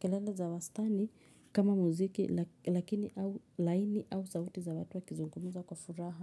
kelele za wastani kama muziki lakini au laini au sauti za watu wa kizungumza kwa furaha.